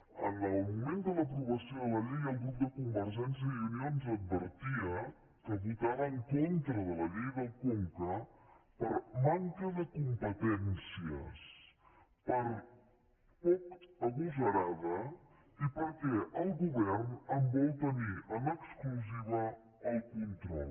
en el moment de l’aprovació de la llei el grup de convergència i unió ens advertia que votava en con·tra de la llei del conca per manca de competències per poc agosarada i perquè el govern en vol tenir en exclusiva el control